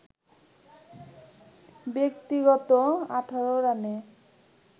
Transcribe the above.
ব্যক্তিগত ১৮ রানে